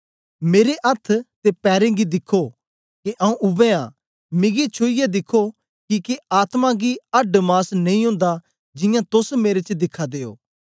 मेरे अथ्थ ते पैरें गी दिखो के आऊँ उवै आं मिगी छुईयै दिखो किके आत्मा गी अड्ड मास नेई ओंदा जियां तोस मेरे च दिखा दे ओ